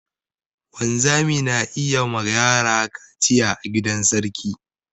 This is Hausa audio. Wanzami na yi ma yara kaciya a gidan sarki.